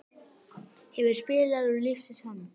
Hefur spilað úr lífsins hönd.